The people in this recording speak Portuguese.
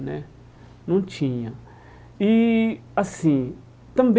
Né não tinha e assim Também